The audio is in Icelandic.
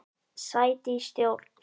Sæti í stjórn?